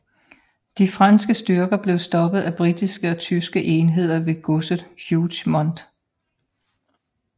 De franske styrker blev stoppet af britiske og tyske enheder ved godset Hougemont